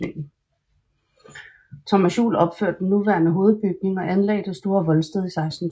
Thomas Juel opførte den nuværende hovedbygning og anlagde det store voldsted i 1620